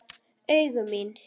Augu mín.